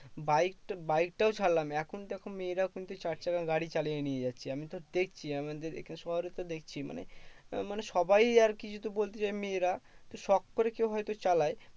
বাইকটা বাইকটাও ছাড়লাম, এখন দেখো মেয়েরাও কিন্তু চার চাকা গাড়ি চালিয়ে নিয়ে যাচ্ছে। আমিতো দেখছি আমাদের এখন শহরেই তো দেখছি মানে মানে সবাই আরকি যদি বলতে যাই মেয়েরা শোক করে কেউ হয়তো চালায়